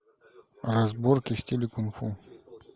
разборки в стиле кунг фу